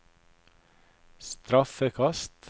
straffekast